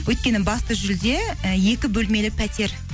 өйткені басты жүлде і екі бөлмелі пәтер